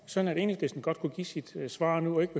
sådan at enhedslisten godt kunne give sit svar nu og ikke